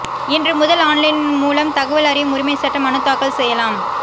இன்று முதல் ஆன்லைன் மூலம் தகவல் அறியும் உரிமை சட்ட மனு தாக்கல் செய்யலாம்